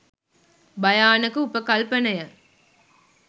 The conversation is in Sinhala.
භයානක උපකල්පනය.